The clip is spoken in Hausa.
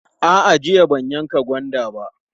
A'a, jiya ban yanka gwanda ba.